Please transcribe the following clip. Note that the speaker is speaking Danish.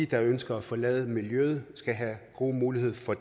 der ønsker at forlade miljøet skal have god mulighed for